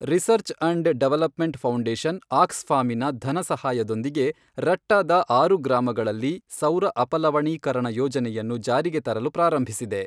Research and development foundation, ಆಕ್ಸ್ಫಾಮಿನ ಧನಸಹಾಯದೊಂದಿಗೆ ರಟ್ಟಾದ ಆರು ಗ್ರಾಮಗಳಲ್ಲಿ ಸೌರ ಅಪಲವಣೀಕರಣ ಯೋಜನೆಯನ್ನು ಜಾರಿಗೆ ತರಲು ಪ್ರಾರಂಭಿಸಿದೆ.